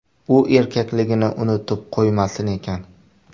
U erkakligini unutib qo‘ymasin ekan”.